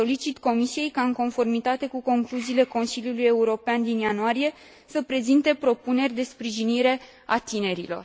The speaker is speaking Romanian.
Solicit Comisiei ca, în conformitate cu concluziile Consiliului European din ianuarie, să prezinte propuneri de sprijinire a tinerilor.